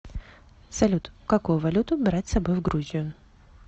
салют какую валюту брать с собой в грузию